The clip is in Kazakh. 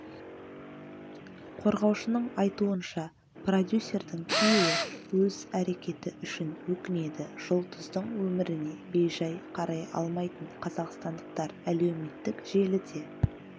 қорғаушының айтуынша продюсердің күйеуі өз әрекеті үшін өкінеді жұлдыздың өміріне бей-жай қарай алмайтын қазақстандықтар әлеуметтік желіде